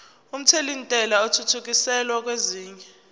omthelintela athuthukiselwa kwesinye